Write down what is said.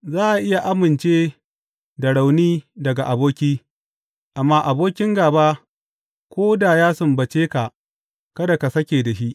Za a iya amince da rauni daga aboki, amma abokin gāba ko da ya sumbace ka kada ka sake da shi!